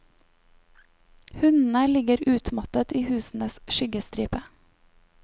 Hundene ligger utmattet i husenes skyggestripe.